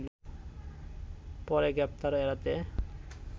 পরে গ্রেপ্তার এড়াতে